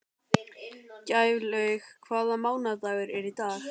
Gæflaug, hvaða mánaðardagur er í dag?